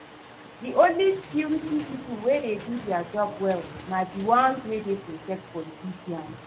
The only security people wey dey do dia job well na the ones wey dey protect politicians